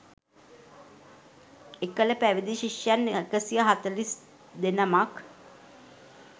එකල පැවිදි ශිෂ්‍යයන් 142 නමක්